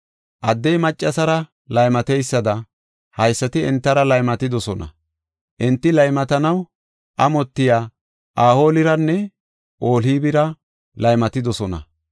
Addey maccasara laymateysada, haysati entara laymatidosona. Enti laymatanaw amotiya Ohooliranne Ohoolibira laymatidosona.